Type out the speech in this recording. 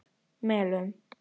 Melum